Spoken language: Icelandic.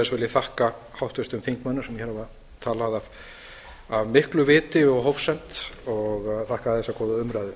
ég þakka háttvirtum þingmönnum sem hér hafa talað af miklu viti og hófsemd og þakka þessa góðu umræðu